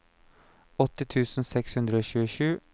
åtti tusen seks hundre og tjuesju